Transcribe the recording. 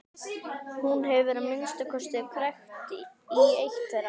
Hún hefur að minnsta kosti krækt í eitt þeirra.